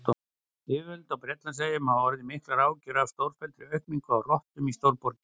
Yfirvöld á Bretlandseyjum hafa orðið miklar áhyggjur af stórfelldri aukningu á rottum í stórborgum.